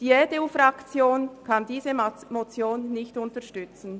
Die EDU-Fraktion kann diese Motion nicht unterstützen.